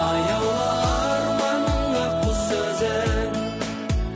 аяулы арманның ақ құсы өзің